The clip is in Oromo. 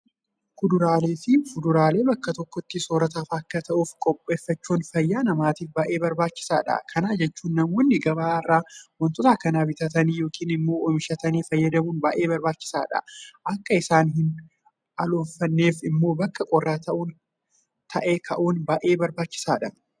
Kuduraaleefi fuduraalee bakka tokkotti soorrataaf akka ta'uuf qopheeffachuun fayyaa namaatiif baay'ee barbaachisaadha. Kana jechuun namoonni gabaa irraa waantota kana bitatanii yookiin immoo oomishatanii fayyadamuun baay'ee barbaachisaadha. Akka isaan hinaloofneef immoo bakka qorraa ta'e kaa'uun baay; ee barbaachisaadha.